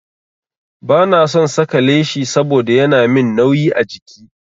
Ba na son saka leshi saboda yana min nauyi a jiki.